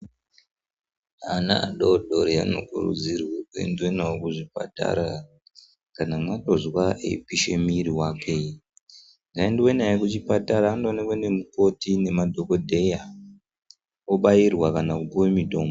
Ana adodori anokurudzirwe kuendwe nawo kuzvipatara kana mangozwa eipisha mairi wake ngaaendwe naye kuchipatara andoonekwa nemukoti nemadhokodheya obairwa kana kupuwe mitombo.